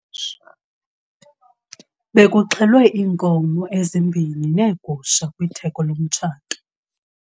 Bekuxhelwe iinkomo ezimbini neegusha kwitheko lomtshato.